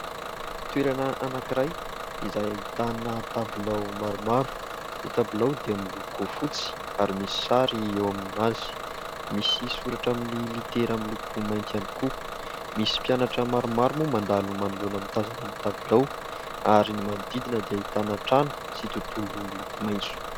Toerana anankiray izay ahitana tabilao maromaro. Ny tabilao dia miloko fotsy ary misy sary eo aminazy, misy soratra amin'ny litera miloko mainty ihany koa. Misy mpianatra maromaro moa mandalo manoloana mitazona ny tabilao ary ny manodidina dia ahitana trano sy tontolo miloko maintso.